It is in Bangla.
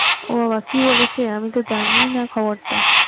ও বাবা কি বলেছে আমি তো জানি না খবরটা